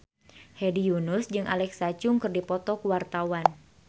Hedi Yunus jeung Alexa Chung keur dipoto ku wartawan